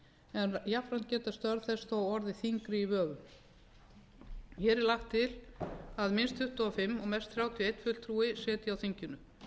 en jafnframt geta störf þess þó orðið þyngri í vöfum hér er lagt til að minnst tuttugu og fimm og mest þrjátíu og einn fulltrúi sitji á þinginu